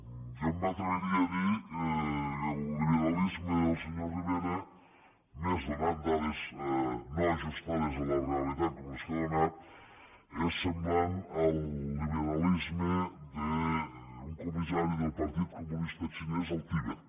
jo m’atreviria a dir que el liberalisme del senyor rivera i més donant dades no ajustades a la realitat com les que ha donat és semblant al liberalisme d’un comissari del partit comunista xinès al tibet